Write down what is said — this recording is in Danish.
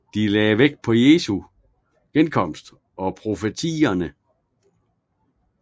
De lagde vægt på Jesu genkomst og profetierne